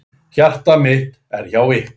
Hjarta mitt er hjá ykkur.